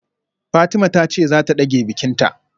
Fatima tace zata dage bikinta